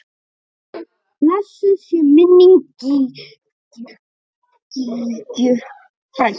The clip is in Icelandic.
Blessuð sé minning Gígju frænku.